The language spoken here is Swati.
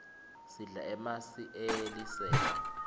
sidla emasi eliselwa